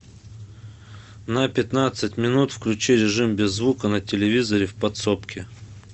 на пятнадцать минут включи режим без звука на телевизоре в подсобке